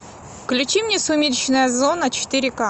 включи мне сумеречная зона четыре ка